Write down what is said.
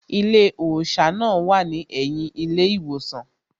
Ilé òṣà náà wà ní ẹ̀yìn ilé ìwòsàn